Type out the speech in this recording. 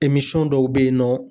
Emisɔn dɔw be yen nɔ